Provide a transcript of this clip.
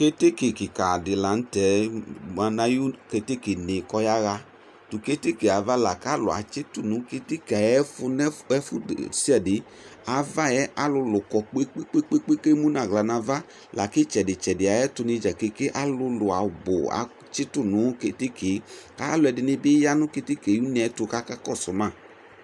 Keteke kika di la nu tɛ keteke ne kɔyaɣa keteke kalu atsitʊ na kpekpe kalʊ edini emu nʊ aɣla nava lakʊ ɩtsɛdi tsɛdi nu keteke alu kɔ 'u ayu ava kpekpe alu ɛdini biyanu keteke ayu une tu kakɔsuma